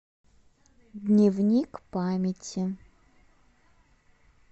дневник памяти